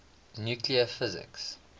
nuclear physics